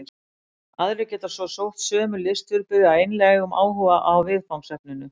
Aðrir geta svo sótt sömu listviðburði af einlægum áhuga á viðfangsefninu.